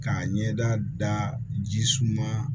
K'a ɲɛda daji ji suma